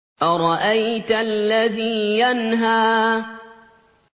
أَرَأَيْتَ الَّذِي يَنْهَىٰ